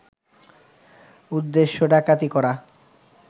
উদ্দেশ্য ডাকাতি করা